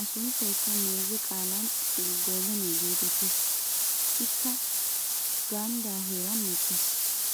A sunttaykka meeze qaalan xiqilggoomeniya geetettees. Ikka ganddaa heeran mokkees.